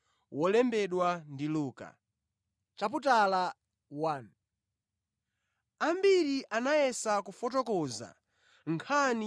Ambiri anayesa kufotokoza nkhani ya zimene zinakwaniritsidwa pakati pathu,